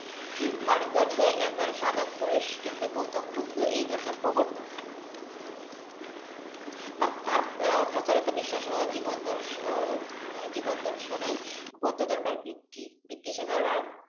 ভারতবর্ষে একজন সাধক পুরুষ কিন্তু গৌতম বুদ্ধ এই ধর্মের প্রবর্তক। তার প্রচারিত বিশ্বাস জীবন দর্শন জীবন দর্শনই বুদ্ধ ধর্মের ভিত্তি। ভিত্তি হিসেবে